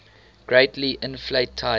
greatly inflate type